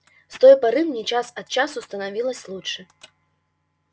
с той поры мне час от часу становилось лучше